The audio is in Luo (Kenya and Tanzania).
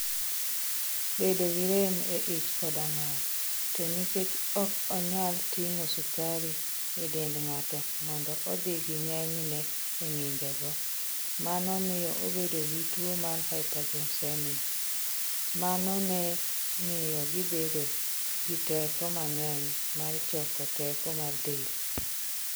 bedo gi rem e ich koda ng'ol. To nikech ok onyal ting'o sukari e dend ng'ato mondo odhi gi ng'enyne e ng'injogo, mano miyo obedo gi tuwo mar hyperglycemia. Mano ne miyo gibedo gi teko mang'eny mar choko teko mar del.